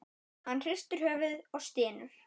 Hann hristir höfuðið og stynur.